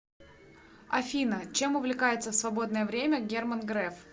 афина чем увлекается в свободное время герман греф